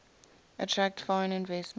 attract foreign investment